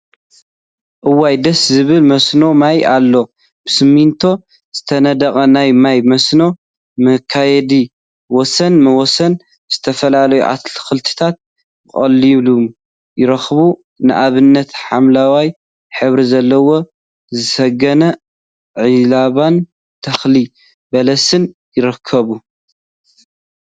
እዋይ! ደስ ዝብል መስኖ ማይ አሎ፡፡ ብስሚንቶ ዝተነደቀ ናይ ማይ መስኖ መክየዲ ወሰን ወሰን ዝተፈላለዩ አትክልትታት በቂሎም ይርከቡ፡፡ ንአብነት ሓምለዋይ ሕብሪ ዘለዎ ዝሰገነ ዒልቦን ተክሊ በለስን ይርከብ፡፡